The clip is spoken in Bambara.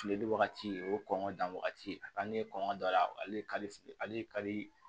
Fili wagati o kɔn wagati a ka di ne ye kɔngɔ don a la ale ye kari